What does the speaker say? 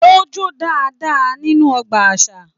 O jo dáadáa nínú ọgbà àṣà.